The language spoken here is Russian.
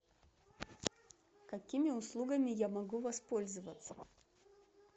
какими услугами я могу воспользоваться